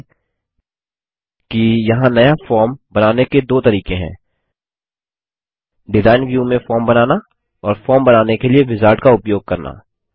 ध्यान दें कि यहाँ नया फॉर्म बनाने के दो तरीके हैं डिजाइन व्यू में फॉर्म बनाना और फॉर्म बनाने के लिए विजार्ड का उपयोग करना